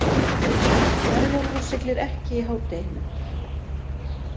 Herjólfur siglir ekki í hádeginu